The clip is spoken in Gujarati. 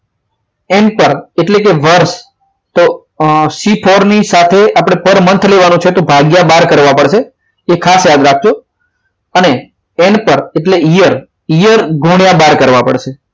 N પર એટલે કે વર્ષ તો આ c formula c four ની સાથે પર month લેવાનો છે તો ભાગ્ય બાર કરવા પડશે તે ખાસ યાદ રાખજો અને n પર એટલે year year ગુણ્યા બાર કરવા પડશે